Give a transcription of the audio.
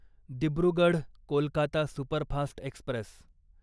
Dibrugarh Kolkata superfast Express